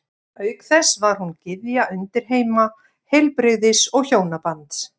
Auk þess var hún gyðja undirheima, heilbrigðis og hjónabands.